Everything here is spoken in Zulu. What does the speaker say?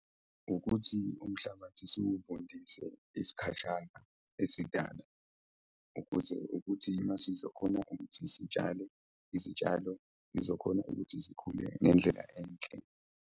Ukuthi umhlabathi siwuvundise isikhashana esidana ukuze ukuthi uma sizokhona ukuthi sitshale izitshalo, zizokhona ukuthi zikhule ngendlela enhle.